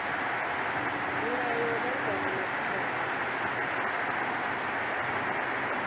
milayo ya malugana na khumbelo